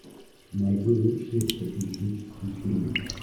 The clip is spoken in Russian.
найди лучшие приключенческие фильмы